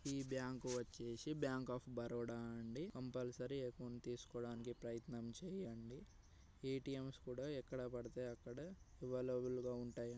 ఈ బ్యాంక్ వచ్చేసి bank of Baroda అండి కంపల్సరీ అకౌంటు తీసుకోవాడినికి ప్రయత్నం చేయండి. ఏ_టి_ఏం స్ కూడా ఎక్కడ బడితే అక్కడ ఎవైలబుల్ గ ఉంటాయి.